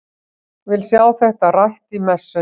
Vil sjá þetta rætt í messunni!